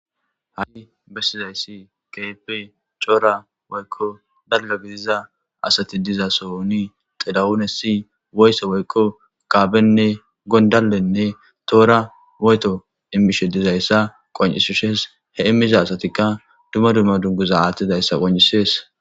Ha7i bessizayssi keepe coora woykko dalga gidiza asati diza soni xilawunes si woysse woykko kaabenne gondallenne toora woyeto immishe dizayssa qon7isishes he immiza asatikka duma dumma dunguza aattidayssa qon'isees